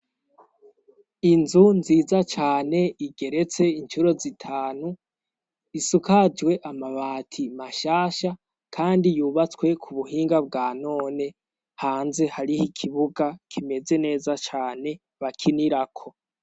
Inzu nziza cane igeretse incuro zitanu. Isukajwe amabati mashasha kandi yubatswe ku buhinga bwa none. Hanze hariho ikibuga kimeze neza cane bakinirako.